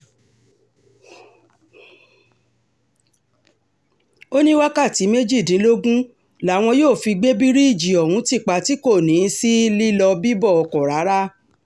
ó ní wákàtí méjìdínlógún làwọn yóò fi gbé bíríìjì ohun ti pa tí kò ní í sí lílọ-bíbọ̀ ọkọ̀ rárá